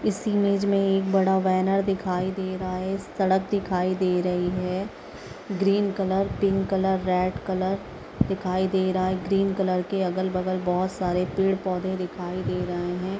इस इमेज मे एक बड़ा बैनर दिखाई दे रहा हैं सड़क दिखाई दे रही हैं green colour pink colour red colour दिखाई दे रहा हैं ग्रीन कलर के अगल-बगल बहोत सारे पेड़-पौधे दिखाई दे रहे हैं।